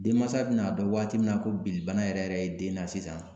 Denmansa bi na dɔn waati min na ko bilibana yɛrɛ yɛrɛ ye den na sisan